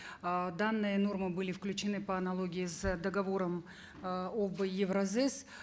э данные нормы были включены по аналогии с договором э об евразэс